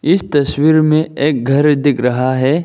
इस तस्वीर में एक घर दिख रहा है।